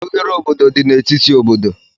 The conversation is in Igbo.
Oghere obodo dị n'etiti obodo